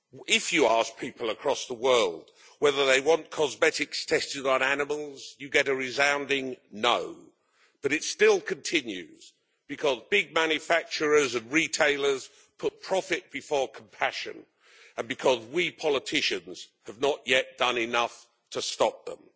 If you ask people across the world whether they want cosmetics tested on animals you get a resounding no, but it still continues because big manufacturers and retailers put profit before compassion, and because we politicians have not yet done enough to stop them.